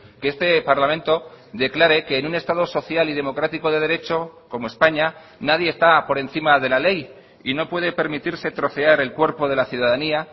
que este parlamento declare que en un estado social y democrático de derecho como españa nadie está por encima de la ley y no puede permitirse trocear el cuerpo de la ciudadanía